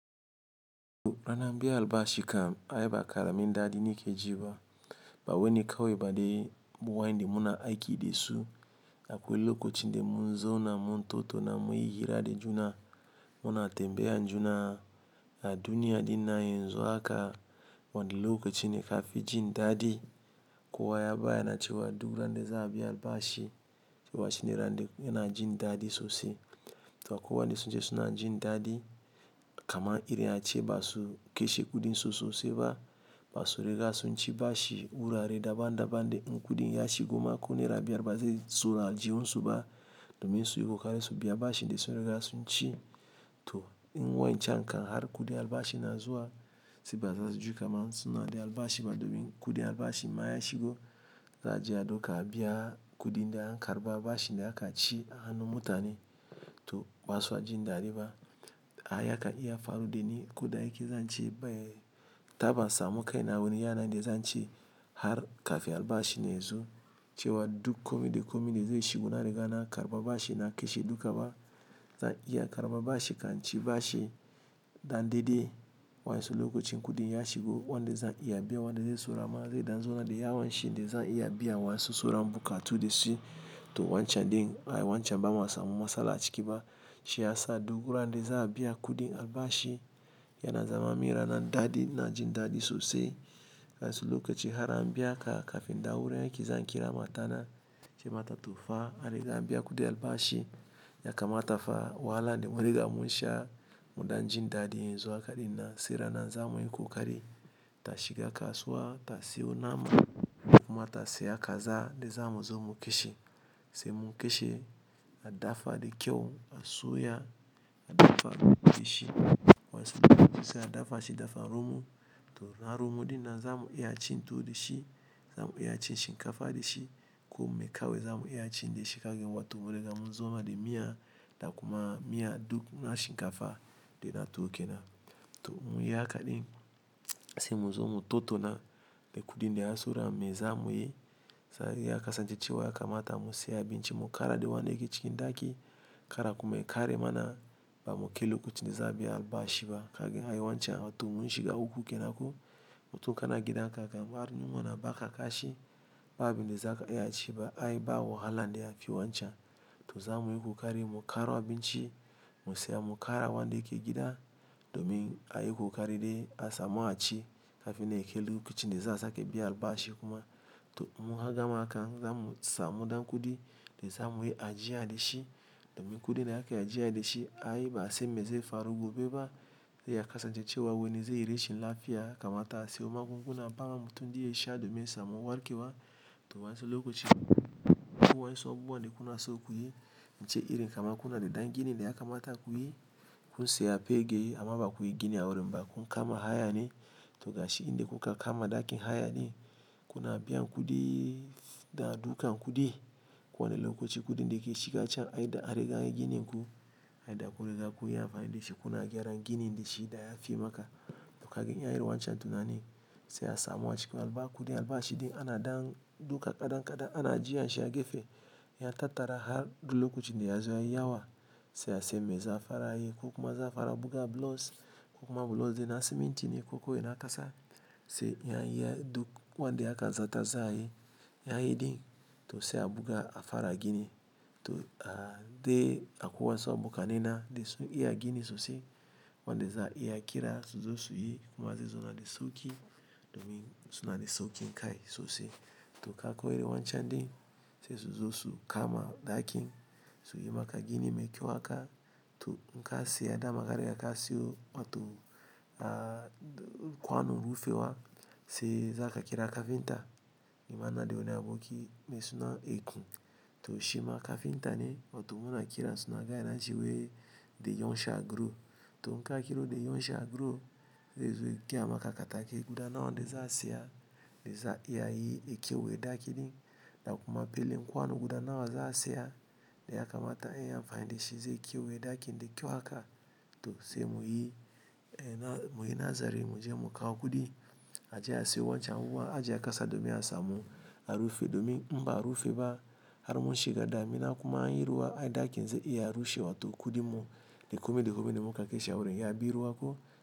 Ranar biyan albashi kam ai ba karami dadi nake ji ba. Ba weni kawai ba dai mu wa'yanda muna aiki de su akwai lokacin de mun zauna muntattau na munyi hira de juna muna tembiyan juna a duniya dinnan yanzu ha ka wani loakci ne kafi jin daɗi kowa ya bayya na cewa duk randa za'a biya albashi cewa shine randa yana jin dadi sosai. To akwai wanda sun ce suna jin dadi kaman irin ace ba su kashe kudin sosai sosai ba. Ba su riga sun ci bashi wurare daban daban da in kudin ya shigo ma ko Naira biyar ba zai zauna a aljihunsu ba domin su yi ƙokari su biya bashin da sun riga sun ci. To in wa'yancan kan har kudin albashi na zuwa sai ba za su ji kaman suna da albashi ba domin in kudin albashi ma ya shigo za aje a ɗauka a biya kuɗi da an karba bashi ne aka ci a hannun mutane. To ba sa jin dadi ba. Ai haka ɗin ya faru da ni koda yake zan ci ban taba samun kai na wani yanayi de zan ci har kafin albashi yazo cewa duk kome da kome da zai shigo na riga na karba bashi na kashe duk ba zan iya karba bashi kan ci bashi dan de de wa'yansu lokacin kudi ya shigo wanda za'a iya biya wanda zai saura ma zai dan zauna de yawanshi de za'a iya biya wa'yansu sauran bukatu da shi. To wancan din ai wancan ba ma samu masala a cika ba. Shi ya sa duk randa za a biya kudin albashi yana zama min ranar dadi ina jin dadi sosai. Wa'yansu lokaci har an biya ka kafin da wurin aiki zan kira matana ince mata to fa ari ga an biya kudi albashi ya kamata fa wahala de munriga mun sha mu dan jin dadi yanzu haka dinnan sai ranar za muyi kokari ta shiga kasuwa ta siyo nama kuma ta siya kaza de zamu zo mu kashe. Sai mu kashe a dafa de kyau a soya a dafa shi wa'yansu lokaci sai a dafa shi dafa romo to na romo dinnan zamu iya cin tuwo de shi zamu iya cin shinkafa de shi ko mai kawai zamu iya cin de shi kagin wato mure zamu zona de miya da kuma miya duk na shinkafa de na tuwo kenan. To mun yi haka din sai mu zo mu tattauna de kudi da yayi saura me za muyi sai ya kasance cewa ya kamata mu siya abinci mu kara de wanda yake cikin ɗaki kara kuma yakare mana ba mu kai lokacin de za biya albashi ba kagin ai wancan ai wancan to mun shiga uku kenan ko mu to kana gidan ka kagan ba rinin wuna ba ka kashi ba abin de za ka iya ci ba ai ba waha lan da yfi wancan. To za muyi kokari mu karo abinci mu siya mu kara wanda yake gida domin ayi kokari dai a samu a ci kafin nan ya kai lokacin de za su kai biyan albashi kuma to mun gama haka zamu samu dan kudi de za muyi ajiya de shi domin kudi na haka ajiya de shi ai ba sai me zai faru gobe ba da ya kasance cewa wani zai yi rashin lafiya kamata a siyo magunguna ba wa mutum daze sha domin yasa mu warke wa to wansu lokaci. Akwai wa'yansu abubuwa de kuna so kuyi ince irin kamar kuna de dangini de ya kamata kuyi kun siya pegeyi amma ba kuyi gini awurin ba kun kama hayani to gashi in de kuka kama dakin hayani kuna biyan kudi dan a dukan kudi ko wani lokacin kudin da yake shiga can ai da a riga anyi ginin ku ai da kudi za ku iya amfani da shi kuna gyaran ginin de shi da ya fi maka to kaga ai irin wancen tunani sai a samu a cikin alba kudin albashi din ana dan duka kadan kadan ana ajiya shi a gefe ya tattara har zuwa lokacin de yazo yayi yawa sai a san me za a fara yi ko kuma za a fara buga blocks ko kuma blocks din na siminti ne ko kuma na kasa. Sai ya yi duk wanda aka zata za ayi yayi din to sai a buga a fara gini to a dai akwai wa'yansu abokanai na de sun iya gini sosai wanda za iya kira su zo su yi kuma zai zona de sauki domin suna de saukin kai sosai. To kaga irin wancan din sai su zo su kama dakin su yi maka gini mai kyau haka to in ka siya dama ka riga ka siyo wato kwanon rufe wa sai za ka kira kafinta. Nima ina de wani aboki me suna Eku to shi ma kafinta ne wato mun a kira suna ga yana jiwo de yonsa aguro. To in ka kira de yonsa aguro zai zo ya gaya ma ka katako guda nawa wanda za a siya de za a yi a kewaye dakin din da kuma belen kwanon guda nawa wanda za a siya de ya kamata ayi amfani da shi zai kewaye dakin de kyau haka. To sai muyi muyi nazari mu je mu kawo kudi ajiye a siyo wancan wuan ajiye a kasa domin a samu a rufe domin imba a rufe ba har mun shiga damina kuma an yi ruwa ai dakin zai iya rushewa to kudi mu de kome de kome de muka kishi awurin ya bi ruwa ko.